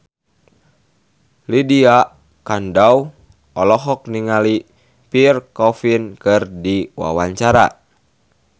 Lydia Kandou olohok ningali Pierre Coffin keur diwawancara